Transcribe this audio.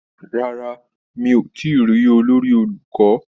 Rárá, mi ò tíì rí olórí olùkọ́?